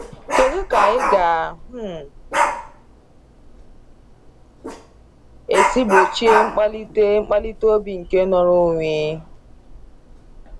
Kedụ kà anyị ga um esi gbochie nkpalite nkpalite obi nke nnọrọ onwe?